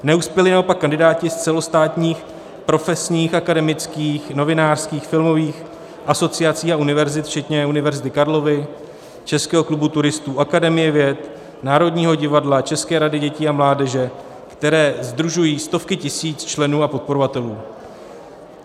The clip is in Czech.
Neuspěli naopak kandidáti z celostátních profesních, akademických, novinářských, filmových asociací a univerzit včetně Univerzity Karlovy, Českého klubu turistů, Akademie věd, Národního divadla, České rady dětí a mládeže, které sdružují stovky tisíc členů a podporovatelů.